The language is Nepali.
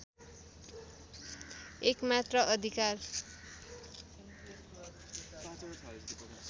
एकमात्र अधिकार